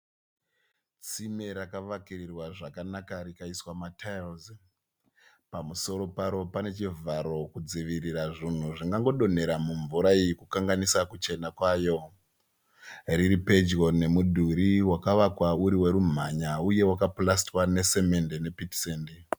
Tsime rakavakirirwa zvakanaka rikaiswa matiles, pamusoro paro pane chivharo kudzivirira zvingangodonhera mumvura iyi kukanganisa kuchena kwayo. Riripedyo nemudhuri wakavakwa uri werumhanya uye wakapurasitiwa nesimende nepitisende.